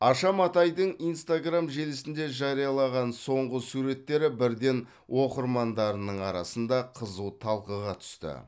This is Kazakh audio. аша матайдың инстаграм желісінде жариялаған соңғы суреттері бірден оқырмандарының арасында қызу талқыға түсті